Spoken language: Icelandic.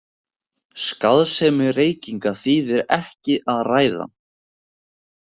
Skaðsemi reykinga þýðir ekki að ræða.